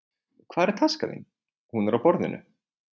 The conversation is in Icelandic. Hvar er taskan þín. Hún er á borðinu